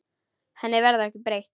Henni verður ekki breytt.